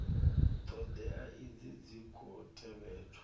thodea idzi dzi khou tevhedzwa